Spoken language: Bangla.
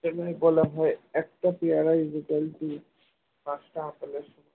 এজন্য বলা হয় একটা পেয়ারা equal to পাঁচটা আপেলের সমান